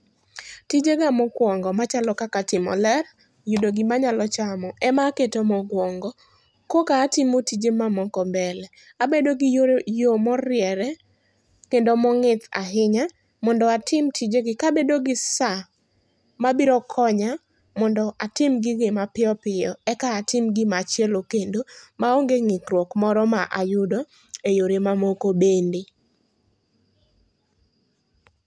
Tijega mokwongo machalo kaka timo ler, yudo gimanyalo chamo, ema aketo mokwaongo. Koka atimo tije mamoko mbele. Abedo gi yo moriere kendo mong'ith ahinya, mondo atim tijegi kabedo gi sa mabiro konya mondo atim gigi mapiyo piyo. Eka atim gimachielo kendo maonge ng'ikruok moro ma ayudo eyore mamoko bende.